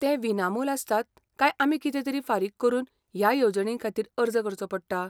ते विनामोल आसतात काय आमी कितेंतरी फारीक करून ह्या येवजणींखातीर अर्ज करचो पडटा?